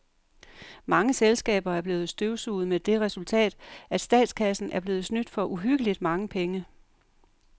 Mange selskaber er blevet støvsuget med det resultat, at statskassen er blevet snydt for uhyggeligt mange penge.